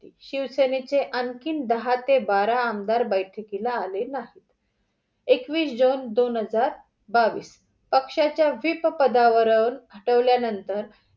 शिवसेनेचे आणखी दहा ते बारा आमदार बैठकीला आले नाहीत. एकवीस दोन हजार बावीस पक्ष्याच्या व्हिप पदावरून हटवल्या नंतर